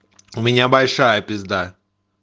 у меня большая пизда